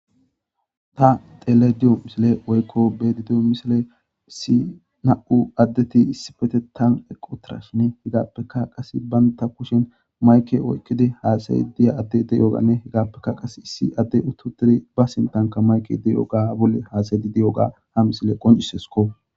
ta tele diyo misile oykko bedi diyo misile si na7u addeti issifete tan eqo tirashine hegappeka qase banta kushin mayke oykkidi haasay diya adde deyogane hegappeka qas issi adde ututidi ba sintanka mayke di7o ga bolle haasaydi di7o ga ha misile qoncisesko